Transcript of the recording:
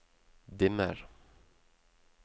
dimmer